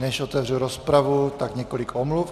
Než otevřu rozpravu, tak několik omluv.